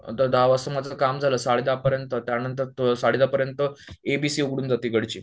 नंतर दहा वाजता माझं काम झालं साडे दहापर्यंत त्यानंतर साडेदहा पर्यंत एबीसी उघडून जाते इकडची